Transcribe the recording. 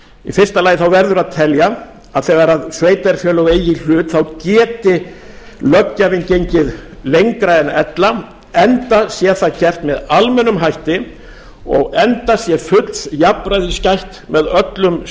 í fyrsta lagi verður að telja að þegar sveitarfélög eigi í hlut geti löggjafinn gengið lengra en ella enda sé það gert með almennum hætti og enda sé fulls jafnræðis gætt með öllum